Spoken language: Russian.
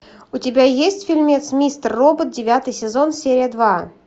у тебя есть фильмец мистер робот девятый сезон серия два